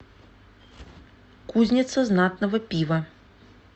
кузница знатного пива